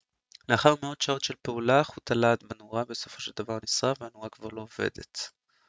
לאחר מאות שעות של פעולה חוט הלהט בנורה בסופו של דבר נשרף והנורה כבר לא עובדת